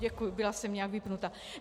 Děkuji, byla jsem nějak vypnuta.